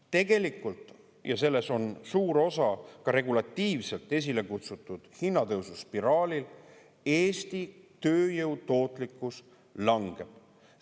Tegelikult – ja selles on suur osa ka regulatiivselt esile kutsutud hinnatõususpiraalil – Eesti tööjõu tootlikkus langeb.